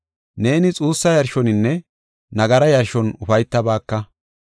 Neeni xuussa yarshoninne nagara yarshon ufaytabaaka.